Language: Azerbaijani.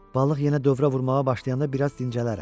Balıq yenə dövrə vurmağa başlayanda biraz dincələrəm.